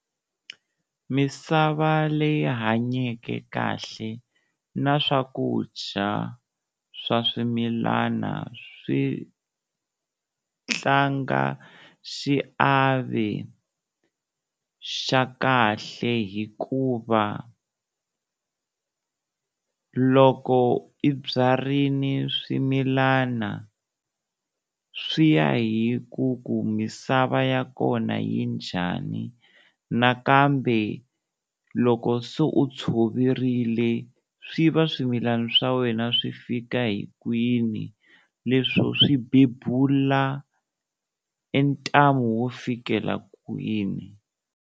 Misava leyi hanyeke kahle na swakudya swa swimilana swi tlanga xiave xa kahle hikuva loko i byarini swimilana, swi ya hi ku ku misava ya kona yi njhani nakambe loko se u tshoverile, swi va swimilana swa wena swi fika hi kwini leswo swi bebula e ntamu wo fikela kwini.